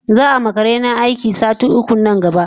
Zaama karena aiki sati uku na gaba